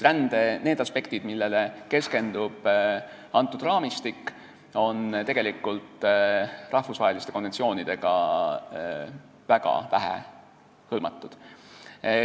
Rände need aspektid, millele keskendub see raamistik, on tegelikult rahvusvaheliste konventsioonidega väga vähe hõlmatud.